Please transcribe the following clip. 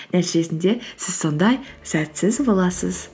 нәтижесінде сіз сондай сәтсіз боласыз